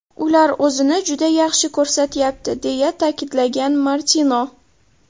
Ular o‘zini juda yaxshi ko‘rsatyapti”, deya ta’kidlagan Martino.